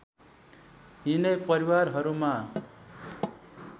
यिनै परिवारहरूमा